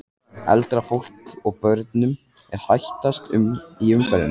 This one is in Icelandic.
Eldra fólki og börnum er hættast í umferðinni.